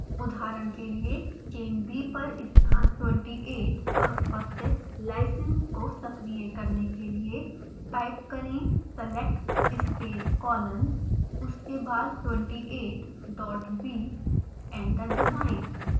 उदहारण के लिए chain b पर स्थान 28 पर उपस्थित lysine को सक्रिय करने के लिए टाइप करें select space colon उसके बाद 28 dot b एंटर दबाएँ